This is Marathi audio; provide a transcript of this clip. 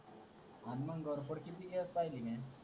हान मी घोरपड मी किती वेळा पाहिलीय मी